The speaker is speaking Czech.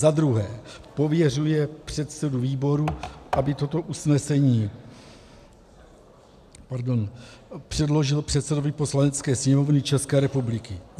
Za druhé, pověřuje předsedu výboru, aby toto usnesení předložil předsedovi Poslanecké sněmovny České republiky.